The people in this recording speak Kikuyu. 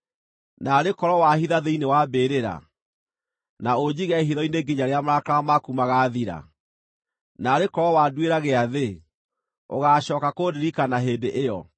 “Naarĩ korwo wahitha thĩinĩ wa mbĩrĩra, na ũnjige hitho-inĩ nginya rĩrĩa marakara maku magaathira! Naarĩ korwo wanduĩra gĩathĩ, ũgaacooka kũndirikana hĩndĩ ĩyo.